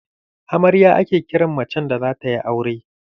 Amarya ake kiran macen da zata yi aure.